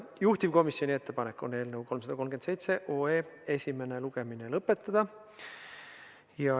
Juhtivkomisjoni ettepanek on eelnõu 337 esimene lugemine lõpetada.